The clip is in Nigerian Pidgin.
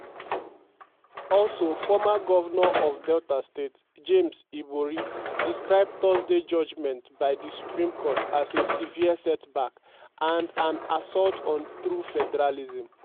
also former govnor of delta state james ibori describe thursday judgement by di supreme court as "a "a severe setback" and "an assault on true federalism".